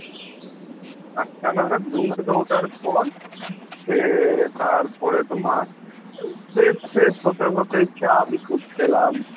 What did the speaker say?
আটটা নাগাদ ঘুম থেকে ওঠার পর সে তারপরে তোমার fresh ট্রেস হতে হতে চা বিস্কুট খেলাম।